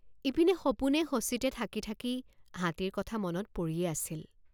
ইপিনে সপোনেসচিতে থাকি থাকি হাতীৰ কথা মনত পৰিয়েই আছিল।